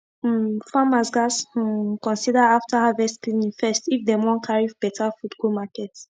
um farmers gats um consider afta harvest cleaning first if dem wan carry beta fud go market